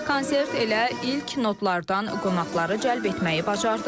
Konsert elə ilk notlardan qonaqları cəlb etməyi bacardı.